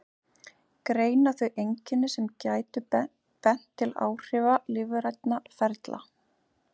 Greina þau einkenni sem gætu bent til áhrifa lífrænna ferla.